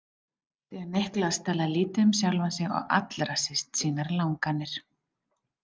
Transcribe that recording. Því að Niklas talaði lítið um sjálfan sig og allra síst sínar langanir.